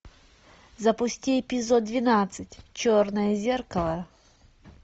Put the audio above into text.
запусти эпизод двенадцать черное зеркало